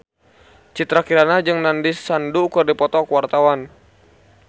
Citra Kirana jeung Nandish Sandhu keur dipoto ku wartawan